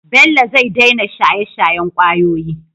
bello zai daina shaye shayen kwayoyi